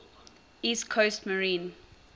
east coast maine